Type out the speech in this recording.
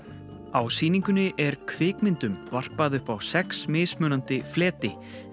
á sýningunni er kvikmyndum varpað upp á sex mismunandi fleti